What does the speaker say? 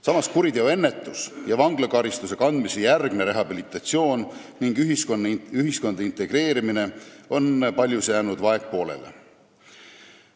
Samas on kuriteoennetus ja vanglakaristuse kandmise järgne rehabilitatsioon ning ühiskonda integreerimine paljus jäänud vaegpoolele.